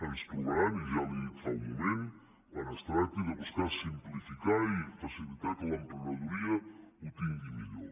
ens trobaran i ja li ho he dit fa un moment quan es tracti de buscar simplificar i facilitar que l’emprenedoria ho tingui millor